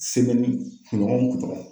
kunɲɔgɔn kunɲɔgɔn.